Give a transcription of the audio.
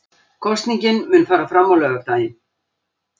Kosningin mun fara fram á laugardaginn